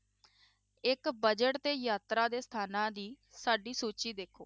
ਇੱਕ budget ਤੇ ਯਾਤਰਾ ਦੇ ਸਥਾਨਾਂ ਦੀ ਸਾਡੀ ਸੂਚੀ ਦੇਖੋ